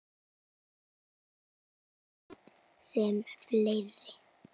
Ég naut þess sem fleiri.